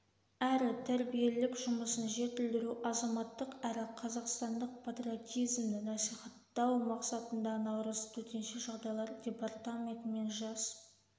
әрі тәрбиелік жұмысын жетілдіру азаматтық әрі қазақстандық патриотизмді насихаттау мақсатында наурыз төтенше жағдайлар департаментімен жас